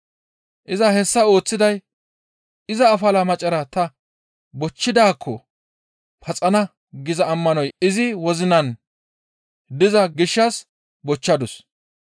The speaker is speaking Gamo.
Iza hessa ooththiday, «Iza afalaa macara ta bochchidaakko paxana» giza ammanoy izi wozinan diza gishshas bochchadus.